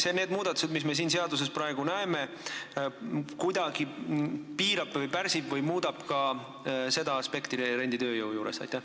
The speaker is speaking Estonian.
Kas need muudatused, mida me nüüd siin seaduses näeme, kuidagi piiravad või pärsivad ka seda aspekti renditööjõu juures?